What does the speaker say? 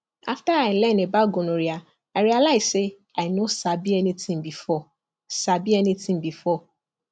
after i learn about gonorrhea i realize say i no sabi anything before sabi anything before